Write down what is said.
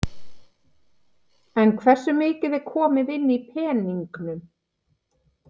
En hversu mikið er komið inn í peningum?